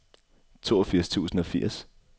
toogfirs tusind og firs